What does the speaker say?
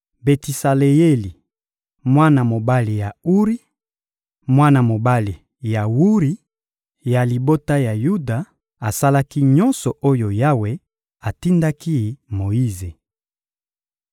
Betisaleyeli, mwana mobali ya Uri, mwana mobali ya Wuri, ya libota ya Yuda, asalaki nyonso oyo Yawe atindaki Moyize.